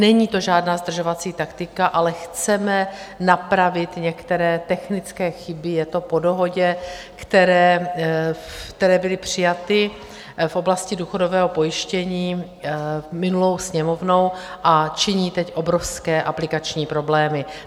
Není to žádná zdržovací taktika, ale chceme napravit některé technické chyby - je to po dohodě - které byly přijaty v oblasti důchodového pojištění minulou Sněmovnou a činí teď obrovské aplikační problémy.